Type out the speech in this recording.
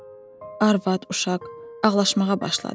Arvad, uşaq ağlaşmağa başladı.